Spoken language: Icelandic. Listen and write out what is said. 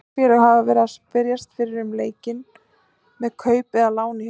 Mörg félög hafa verið að spyrjast fyrir um leikmenn með kaup eða lán í huga.